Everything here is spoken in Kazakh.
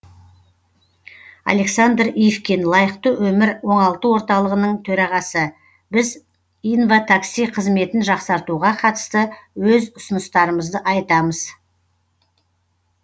александр ивкин лайықты өмір оңалту орталығының төрағасы біз инватакси қызметін жақсартуға қатысты өз ұсыныстарымызды айтамыз